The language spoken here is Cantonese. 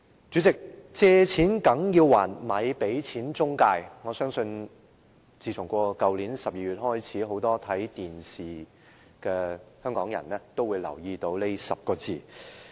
主席，"借錢梗要還，咪俾錢中介"，我相信自去年12月起，很多看電視的香港人都留意到這10個字。